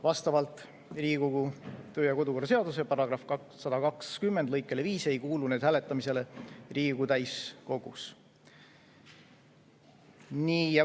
Vastavalt Riigikogu kodu‑ ja töökorra seaduse § 120 lõikele 5 ei kuulu need hääletamisele Riigikogu täiskogus.